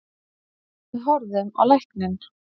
Við horfðum á lækninn.